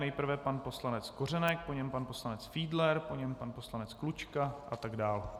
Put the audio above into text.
Nejprve pan poslanec Kořenek, po něm pan poslanec Fiedler, po něm pan poslanec Klučka atd.